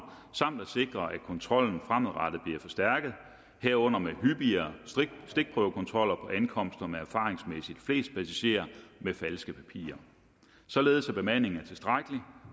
samt at sikre at kontrollen fremadrettet bliver forstærket herunder med hyppigere stikprøvekontroller på ankomster med erfaringsmæssigt flest passagerer med falske papirer således at bemandingen er tilstrækkelig